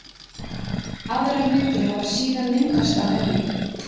Aðrar myndir hafi síðan myndast af henni.